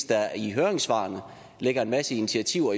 der i høringssvarene ligger en masse initiativer